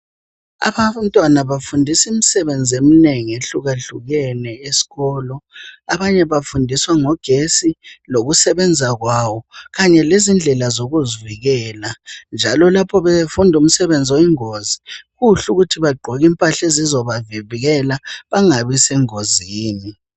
abantwana bafundiswa ngemisebenzi eminengi eyehlukeneyo esikolo abanye bafundiswa ngogesti lokusebenza kwayo kanye lendlela zokuzivikela njalo lapha befunda umsebenzi oyingozi kuhle ukuthi bagqoke impahla ezizabavikela bangabi sengozini.